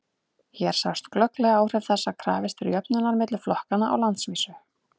hér sjást glögglega áhrif þess að krafist er jöfnunar milli flokkanna á landsvísu